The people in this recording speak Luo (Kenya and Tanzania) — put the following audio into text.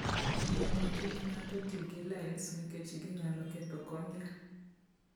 Onego kik ng'ato ti gi lens nikech ginyalo ketho cornea.